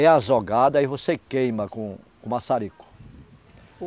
É azogado, aí você queima com o maçarico. o